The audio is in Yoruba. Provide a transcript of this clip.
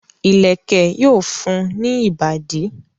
ìlẹ̀kẹ̀ yóò fun ní ìbàdí.